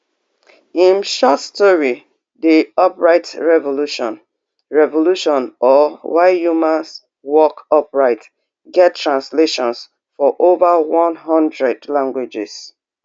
im short story di upright revolution revolution or why humans walk upright get translations for over one hundred languages